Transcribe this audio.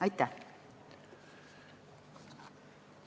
Aitäh!